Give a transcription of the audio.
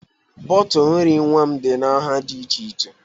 Bọtụl nri nwa m dị na nha dị iche iche